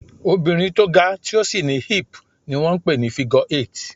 Obìnrin tó ga, tí ó sì ní hip ni wón ń pè ní "figure eight".